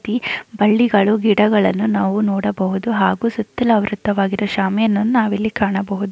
ಬಳ್ಳಿಗಳು ಗಿಡಗಳನ್ನು ನಾವು ನೋಡಬಹುದು. ಹಾಗು ಸುತ್ತಲೂ ಆವೃತವಾಗಿರುವ ಶಾಮಿಯಾನವನ್ನು ನಾವು ಇಲ್ಲಿ ಕಾಣಬಹುದು.